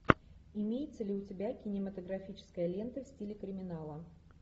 имеется ли у тебя кинематографическая лента в стиле криминала